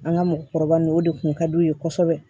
An ka mɔgɔkɔrɔba nunnu o de kun ka d'u ye kosɛbɛ